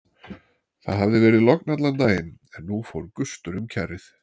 Það hafði verið logn allan daginn en nú fór gustur um kjarrið.